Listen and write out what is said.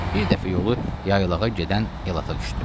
Bir dəfə yolu yaylağa gedən elata düşdü.